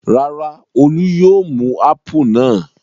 Rárá, Olú yóò mú ápù náà.